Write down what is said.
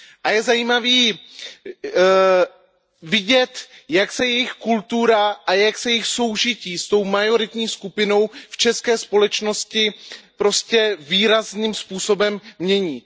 Je zajímavé vidět, jak se jejich kultura a jak se jejich soužití s tou majoritní skupinou v české společnosti výrazným způsobem mění.